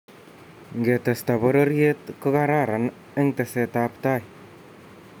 ngetesta pororiet ko kararan eng teset ab tai